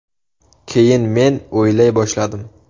Keyin men o‘ylay boshladim.